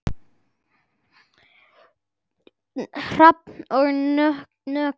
Hrafn og Nökkvi.